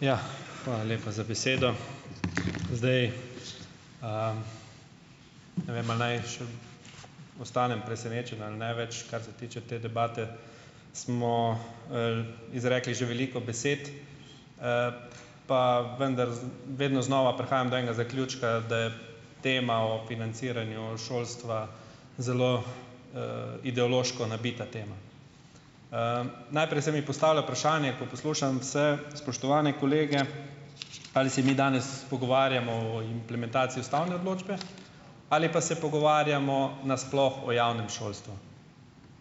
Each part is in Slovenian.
Ja, hvala lepa za besedo, zdaj, ne vem, ali naj ostanem presenečen ali ne, več, kar se tiče te debate smo, izrekli že veliko besed, pa vendar vedno znova prihajam do enega zaključka, da je tema o financiranju šolstva zelo, ideološko nabita tema, najprej se mi postavlja vprašanje, ko poslušam vse spoštovane kolege, ali se mi danes pogovarjamo o implementaciji ustavne odločbe ali pa se pogovarjamo nasploh o javnem šolstvu,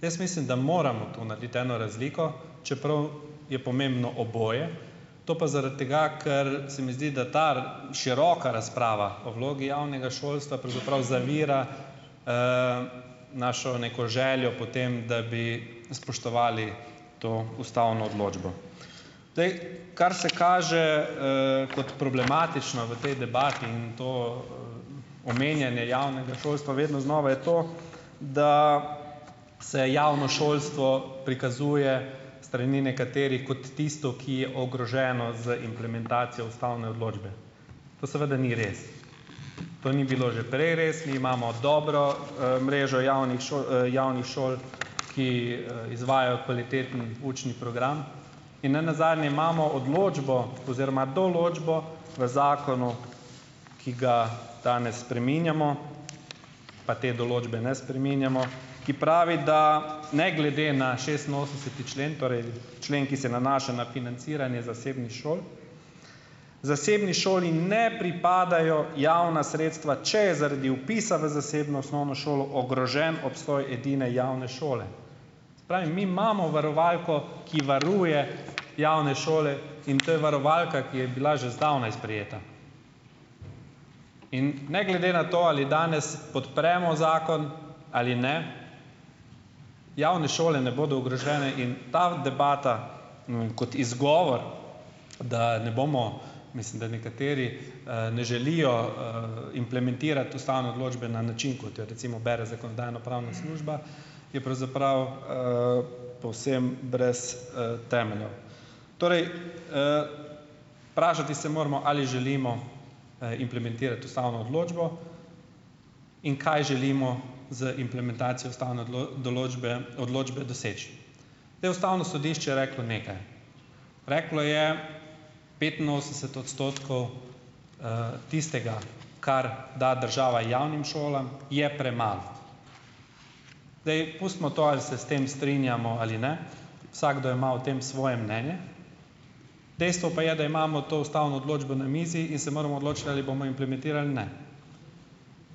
jaz mislim, da moramo tu narediti eno razliko, čeprav je pomembno oboje, to pa zaradi tega, ker se mi zdi ta široka razprava o vlogi javnega šolstva pravzaprav zavira, našo neko željo po tem, da bi spoštovali to ustavno odločbo, zdaj, kar se kaže, kot problematično v tej debati in to omenjanje javnega šolstva vedno znova, je to, da se javno šolstvo prikazuje strani nekaterih kot tisto, ki je ogroženo z implementacijo ustavne odločbe, to seveda ni res, to ni bilo že prej res, mi imamo dobro, mrežo javnih šol, javnih šol, ki, izvajajo kvaliteten učni program in ne nazdanje imamo odločbo oziroma določbo v zakonu, ki ga danes spreminjamo, pa te določbe ne spreminjamo, ki pravi, da ne glede na šestinosemdeseti člen, torej člen, ki se nanaša na financiranje zasebnih šol, zasebni šoli ne pripadajo javna sredstva, če je zaradi vpisa v zasebno osnovno šolo ogrožen obstoj edine javne šole, se pravi, mi imamo varovalko, ki varuje javne šole, in to je varovalka, ki je bila že zdavnaj sprejeta, in ne glede na to, ali danes podpremo zakon ali ne, javne šole ne bodo ogrožene in ta u debata, ne vem, kot izgovor, da ne bomo, mislim, da nekateri, ne želijo, implementirati ustavne odločbe na način, kot jo recimo bere zakonodajno-pravna služba, je pravzaprav, povsem brez, temeljev, torej, vprašati se moramo, ali želimo implementirati ustavno odločbo in kaj želimo z implementacijo ustavne določbe, odločbe doseči, zdaj, ustavno sodišče je reklo nekaj, reklo je: "Petinosemdeset odstotkov, tistega, kar da država javnim šolam, je premalo." Zdaj, pustimo to, ali se s tem strinjamo ali ne, vsakdo ima o tem svoje mnenje, dejstvo pa je, da imamo to ustavno odločbo na mizi in se moramo odločiti, ali bomo implementirali ali ne,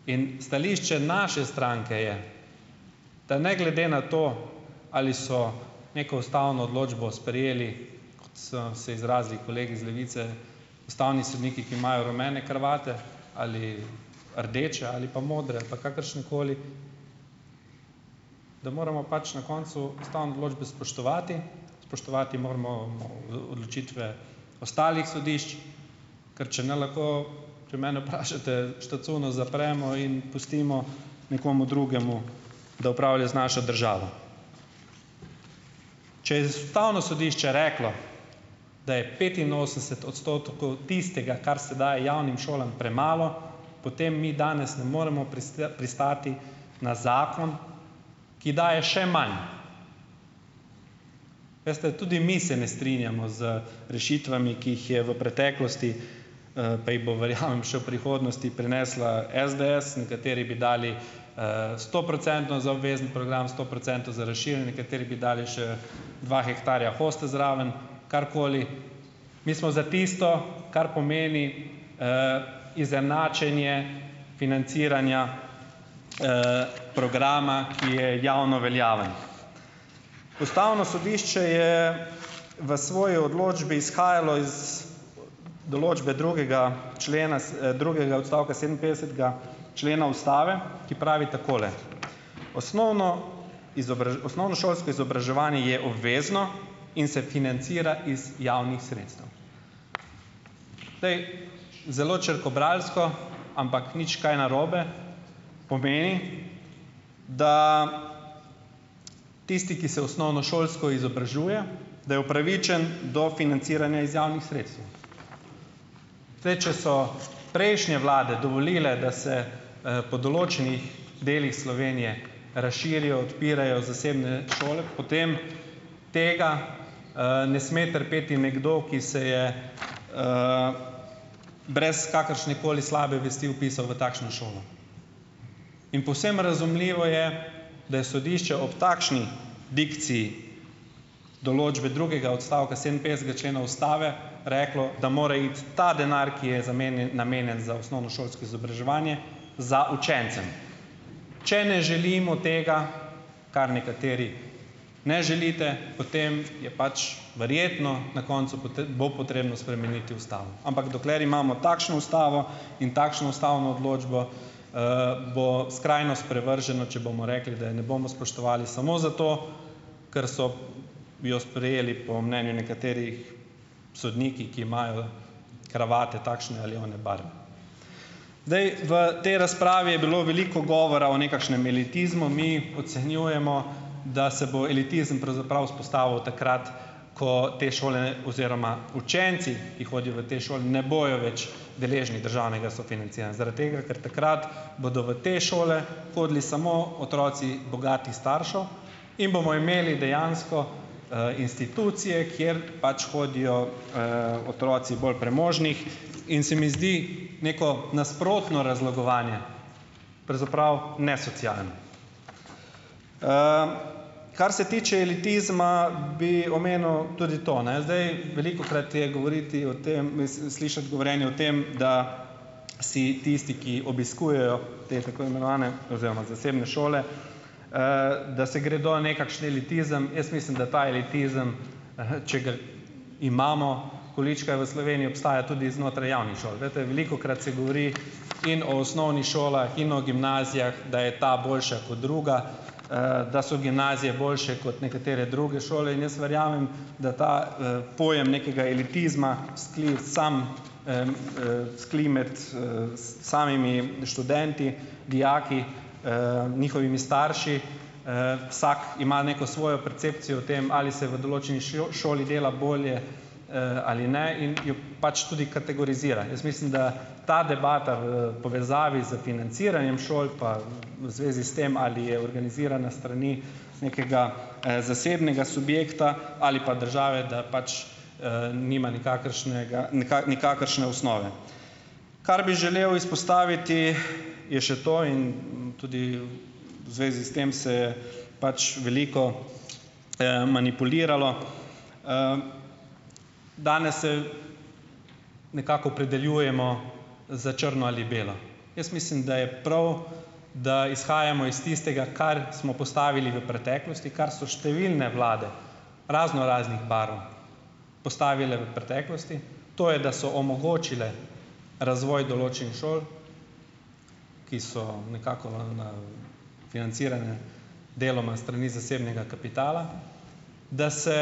in stališče naše stranke je, da ne glede na to, ali so neko ustavno odločbo sprejeli, kot so se izrazili kolegi iz Levice, ustavni sodniki, ki imajo rumene kravate ali rdeče ali pa modre ali pa kakršnekoli, da moramo pač na koncu ustavne odločbe spoštovati, spoštovati moramo odločitve ostalih sodišč, ker če ne lahko, če mene vprašate, štacuno zapremo in pustimo nekomu drugemu, da upravlja z našo državo, če je ustavno sodišče reklo, da je petinosemdeset odstotkov tistega, kar se daje javnim šolam, premalo, potem mi danes ne moremo pristati na zakon, ki daje še manj, veste, tudi mi se ne strinjamo z rešitvami, ki jih je v preteklosti, pa jih bo verjamem še v prihodnosti prinesla SDS, nekateri bi dali, stoprocentno za obvezni, program sto procentov rešilnike, kateri bi dali še dva hektarja hoste zraven, karkoli, mi smo za tisto, kar pomeni, izenačenje financiranja, programa, ki je javno veljaven, ustavno sodišče je v svoji odločbi izhajalo iz določbe drugega člena drugega odstavka sedeminpetdesetega člena ustave, ki pravi takole: "Osnovno osnovnošolsko izobraževanje je obvezno in se financira iz javnih sredstev." Zdaj, zelo črkobralsko, ampak nič kaj narobe, pomeni, da tisti, ki se osnovnošolsko izobražuje, da je upravičen do financiranja iz javnih sredstev, zdaj, če so prejšnje vlade dovolile, da se, po določenih delih Slovenije razširijo, odpirajo zasebne šole, potem tega, ne sme trpeti nekdo, ki se je, brez kakršnekoli slabe vesti vpisal v takšno šolo, in povsem razumljivo je, da je sodišče ob takšni dikciji določbe drugega odstavka sedeminpetdesetega člena ustave reklo, da mora iti ta denar, ki je namenjen za osnovnošolsko izobraževanje, za učence, če ne želimo tega, kar nekateri ne želite, potem je pač verjetno na koncu bo potrebno spremeniti ustavo, ampak dokler imamo takšno ustavo in takšno ustavno odločbo, bo skrajno sprevrženo, če bomo rekli, da je ne bomo spoštovali samo zato, ker so jo sprejeli po mnenju nekaterih sodniki, ki imajo kravate takšne ali one barve. Zdaj v tej razpravi je bilo veliko govora o nekakšnem elitizmu, mi ocenjujemo, da se bo elitizem pravzaprav vzpostavil takrat, ko te šole, ne, oziroma učenci, ki hodijo v te šole, ne bojo več deležni državnega sofinanciranja zaradi tega, ker takrat bodo v te šole hodili samo otroci bogatih staršev in bomo imeli dejansko, institucije, kjer pač hodijo, otroci bolj premožnih in se mi zdi neko nasprotno razlogovanje pravzaprav nesocialni, kar se tiče elitizma, bi omenil tudi to, ne, zdaj velikokrat je govoriti o tem, mislim, slišati govorjenje o tem, da si tisti, ki obiskujejo te tako imenovane oziroma zasebne šole, da se gredo nekakšen elitizem, jaz mislim, da ta elitizem imamo, količkaj v Sloveniji obstajajo tudi znotraj javnih šol, glejte, velikokrat se govori in o osnovnih šolah in o gimnazijah, da je ta boljša kot druga, da so gimnazije boljše kot nekatere druge šole, in jaz verjamem da ta, pojem nekega elitizma vzkali sam, vzkali med, samimi študenti, dijaki, njihovimi starši, vsak ima neko svojo percepcijo o tem, ali se v šoli dela bolje, ali ne in pač tudi kategorizira, jaz mislim, da ta debata v povezavi s financiranjem šol pa v zvezi s tem, ali je organizirana s strani nekega, zasebnega subjekta ali pa države, da pač nima nikakršne ga nikakršne osnove, kar bi želel izpostaviti, je še to, in tudi v zvezi s tem se pač veliko, manipuliralo, Danes se nekako opredeljujemo za črno ali belo, jaz mislim, da je prav, da izhajamo iz tistega, kar smo postavili v preteklosti, kar so številne vlade raznoraznih barv postavile v preteklosti, to je, da so omogočile razvoj določenih šol, ki so nekako na financirane deloma s strani zasebnega kapitala, da se,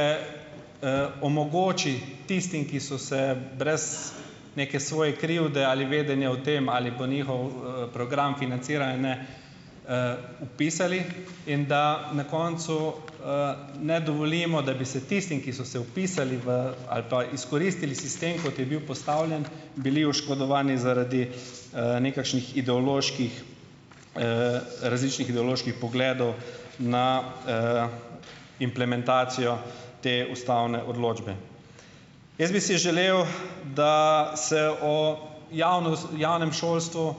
omogoči tistim, ki so se brez neke svoje krivde ali vedenja o tem, ali pa njihov, program financiranja, ne, vpisali, in da na koncu, ne dovolimo, da bi se tistim, ki so se vpisali v ali pa izkoristili sistem, kot je bil postavljen, bili oškodovani zaradi, nekakšnih ideoloških, različnih ideoloških pogledov na, implementacijo te ustavne odločbe. Jaz bi si želel, da se o javnem šolstvu,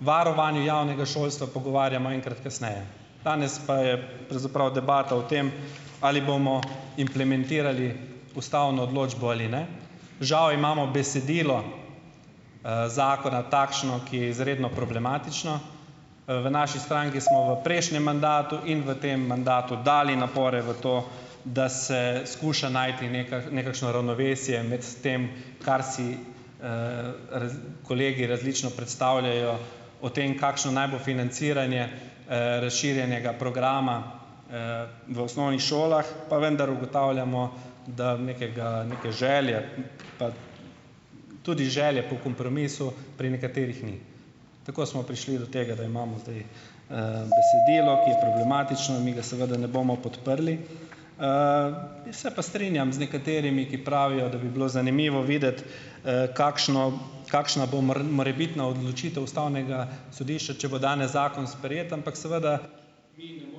varovanju javnega šolstva pogovarjamo enkrat kasneje, danes pa je pravzaprav debata o tem, ali bomo implementirali ustavno odločbo ali ne, žal imamo besedilo, zakona takšno, ki je izredno problematično, v naši stranki smo v prejšnjem mandatu in v tem mandatu dali napore v to, da se skuša najti nekakšno ravnovesje med tem, kar si, kolegi različno predstavljajo, o tem, kakšno naj bo financiranje, razširjenega programa, v osnovnih šolah, pa vendar ugotavljamo, da nekega, neke želje pa tudi želje po kompromisu pri nekaterih ni, tako smo prišli do tega, da imamo zdaj, besedilo, ki je problematično, mi ga seveda ne bomo podprli, se pa strinjam z nekaterimi, ki pravijo, da bi bilo zanimivo videti, kakšno, kakšna bo morebitna odločitev ustavnega sodišča, če bo danes zakon sprejet, ampak seveda mi ne moremo podpreti zakona.